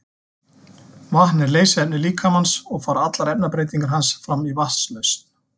Vatn er leysiefni líkamans og fara allar efnabreytingar hans fram í vatnslausn.